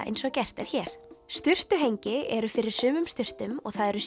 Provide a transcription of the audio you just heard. eins og gert er hér sturtuhengi eru fyrir sumum sturtum og það eru